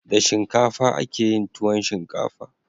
Da shinkafa akeyin tuwon shinkafa